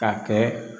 Ka kɛ